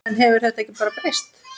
En hefur þetta ekki breyst?